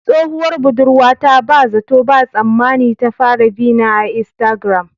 Tsohuwar budurwata ba zato ba tsammani ta fara bina a iastagram